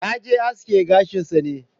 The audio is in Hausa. Yaje aske gashin sa ne.